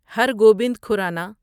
Hare Gobind Khorana